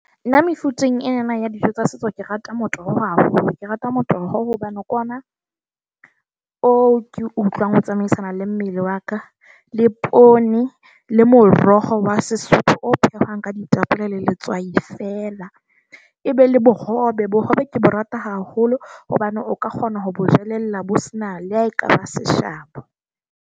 Na mefuteng enana ya dijo tsa setso, ke rata motoho hao . Ke rata motoho hobane ke ona o ke utlwang o tsamaisana le mmele wa ka. Le poone le moroho. Mokgwa wa Sesotho o phehwang ka ditapole le letswai feela. Ebe le bohobe. Bohobe ke bo rata haholo hobane o ka kgona ho bo jelella bo sena le ha ekaba seshabo.